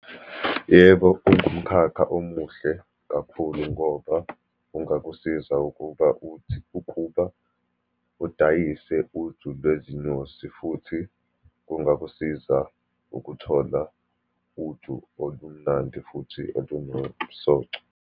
Yebo, kungumkhakha omuhle kakhulu, ngoba kungakusiza ukuba, uthi, ukuba udayise uju lwezinyosi, futhi kungakusiza ukuthola uju olumnandi, futhi olunomsoco.